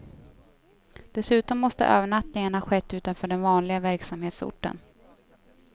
Dessutom måste övernattningen ha skett utanför den vanliga verksamhetsorten.